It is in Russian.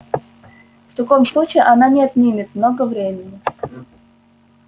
в таком случае она не отнимет много времени